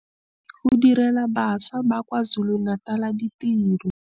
Go direla bašwa ba kwa KwaZulu-Natal ditiro.